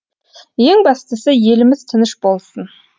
ең бастысы еліміз тыныш болсын